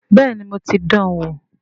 Bẹ́ẹ̀ni mo ti dan wò